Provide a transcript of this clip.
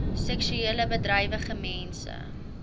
seksueel bedrywige mense